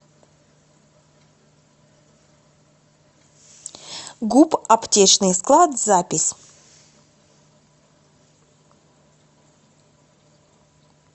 гуп аптечный склад запись